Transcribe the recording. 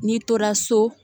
N'i tora so